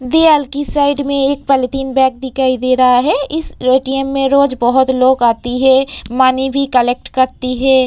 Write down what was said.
दीआल की साइड में एक पलिथीन बॅग दिखाई दे रहा है इस ए.टी.एम. में रोज बहोत लोग आती है मनी भी कलेक्ट करती है।